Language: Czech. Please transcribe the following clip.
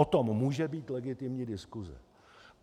O tom může být legitimní diskuse.